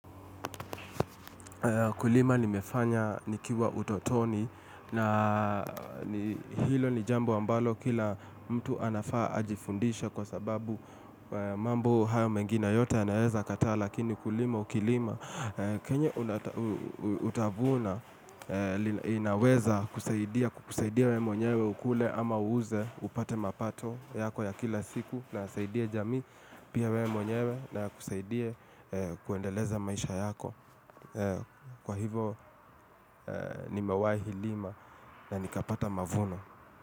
Kulima nimefanya nikiwa utotoni na hilo ni jambo ambalo kila mtu anafaa ajifundishe kwa sababu mambo hayo mengine yote anaeza kataa lakini kulima ukilima. Kenye utavuna inaweza kusaidia we mwenyewe ukule ama uuze upate mapato yako ya kila siku na nasaidie jamii pia we mwenyewe na kusaidie kuendeleza maisha yako Kwa hivo ni mewaihilima na nikapata mavuno.